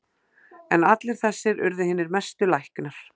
En allir þessir urðu hinir mestu læknar.